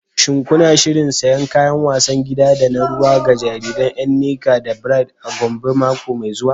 Shin kuna shirin siyan kayan wasan gida da na ruwa ga jariran Nneka da Bright a Gombe mako mai zuwa?